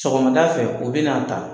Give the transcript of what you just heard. Sɔgɔmadafɛ o be n'a ta